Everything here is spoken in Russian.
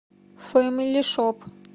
фэмили шоп